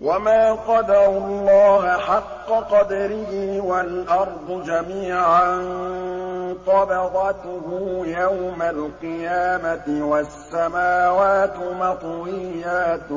وَمَا قَدَرُوا اللَّهَ حَقَّ قَدْرِهِ وَالْأَرْضُ جَمِيعًا قَبْضَتُهُ يَوْمَ الْقِيَامَةِ وَالسَّمَاوَاتُ مَطْوِيَّاتٌ